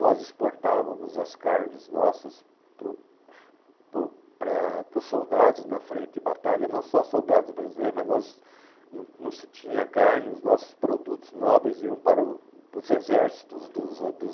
Nós exportávamos as carnes nossas para o para o para para os soldados na frente de batalha, não só soldados brasileiros, mas nós não não se tinha carne, os nossos produtos nobres iam para o para os exércitos dos a dos